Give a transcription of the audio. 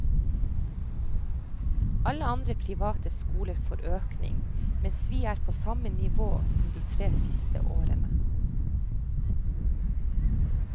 Alle andre private skoler får økning, mens vi er på samme nivå som de tre siste årene.